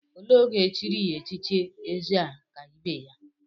Olee oge echiri ya echichi Ezekaibeya?